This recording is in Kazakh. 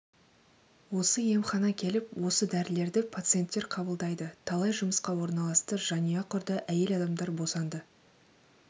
осы емхана келіп осы дәрілерді пациенттер қабылдайды талай жұмысқа орналасты жанұя құрды әйел адамдар босанды